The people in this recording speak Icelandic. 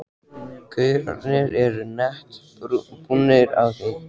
gaurarnir eru nett búnir á því.